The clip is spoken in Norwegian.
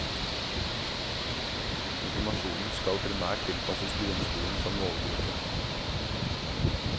Informasjonen skal primært tilpasses grunnskolen som målgruppe.